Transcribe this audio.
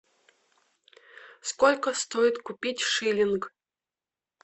сколько стоит купить шиллинг